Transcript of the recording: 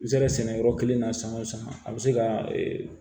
I bɛ se ka sɛnɛ yɔrɔ kelen na san o san a bɛ se ka